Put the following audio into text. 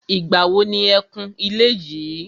Ìgbà wo ni e kun ilé yìí.